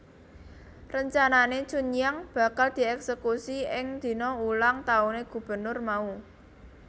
Rencanane Chunhyang bakal dieksekusi ing dina ulang tahune gubernur mau